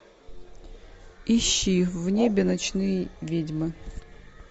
ищи в небе ночные ведьмы